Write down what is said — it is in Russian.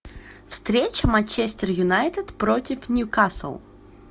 встреча манчестер юнайтед против ньюкасл